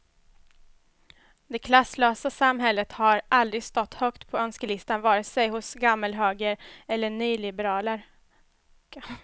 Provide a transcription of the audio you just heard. Det klasslösa samhället har aldrig stått högt på önskelistan vare sig hos gammalhöger eller nyliberaler.